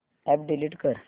app delete कर